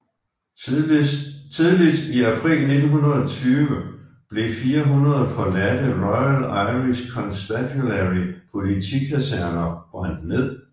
Tidligt i april 1920 blev 400 forladte Royal Irish Constabulary politikaserner brændt ned